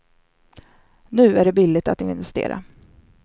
Nu är det billigt att investera.